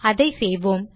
அதை செய்வோம்